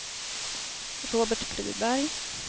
Robert Friberg